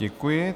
Děkuji.